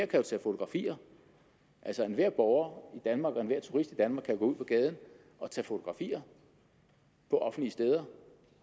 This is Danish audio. tage fotografier enhver borger i danmark og enhver turist i danmark kan ud på gaden og tage fotografier på offentlige steder